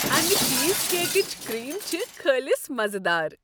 امِہ چیز کیکٕچ کریم چِھ خٲلص مزٕدار۔